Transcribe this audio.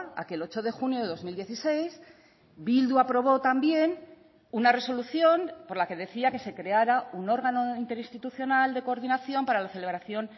aquel ocho de junio de dos mil dieciséis bildu aprobó también una resolución por la que decía que se creara un órgano interinstitucional de coordinación para la celebración